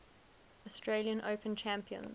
australian open champions